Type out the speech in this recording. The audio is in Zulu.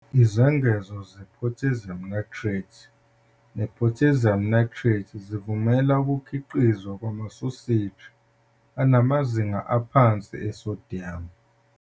Izengezo ze-Potassium nitrite ne-potassium nitrate zivumela ukukhiqizwa kwamasoseji anamazinga aphansi e-sodium.